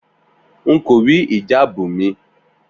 N kò rí ìjáàbù mi